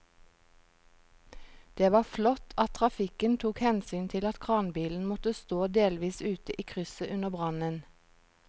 Det var flott at trafikken tok hensyn til at kranbilen måtte stå delvis ute i krysset under brannen.